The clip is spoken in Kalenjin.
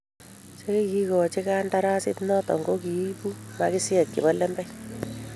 che kikikochi kandarasit noto ko kiibu maskisiek chebo lembech.